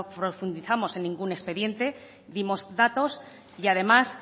profundizamos en ningún expediente dimos datos y además